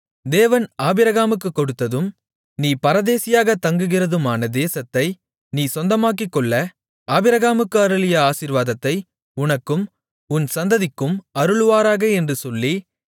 தேவன் ஆபிரகாமுக்குக் கொடுத்ததும் நீ பரதேசியாகத் தங்குகிறதுமான தேசத்தை நீ சொந்தமாக்கிக்கொள்ள ஆபிரகாமுக்கு அருளிய ஆசீர்வாதத்தை உனக்கும் உன் சந்ததிக்கும் அருளுவாராக என்று சொல்லி